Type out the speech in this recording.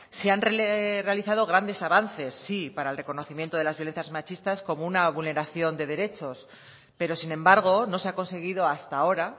se han realizado grandes avances sí para el reconocimiento de las violencias machistas como una vulneración de derechos pero sin embargo no se ha conseguido hasta ahora